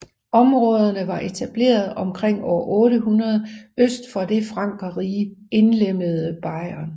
Områderne var etableret omkring år 800 øst for det i Frankerriget indlemmede Bayern